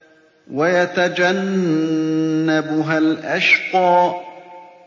وَيَتَجَنَّبُهَا الْأَشْقَى